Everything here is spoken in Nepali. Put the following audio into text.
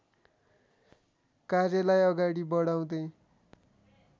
कार्यलाई अगाडि बढाउँदै